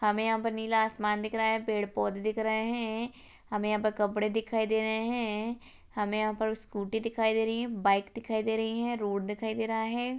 हमें यहां पर नीला आसमान दिख रहा है पेड़ पोधे दिख रहे हैं हमें यहां पर कपड़े दिखाई दे रहे हैं हमें यहां पर स्कूटी दिखाई दे रही है बाइक दिखाई दे रही है रोड दिखाई दे रहा है।